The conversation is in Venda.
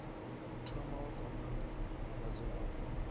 thoma wa kwamana na vhadzulapo